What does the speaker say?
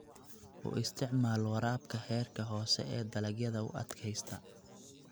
U isticmaal waraabka heerka hoose ee dalagyada u adkaysta.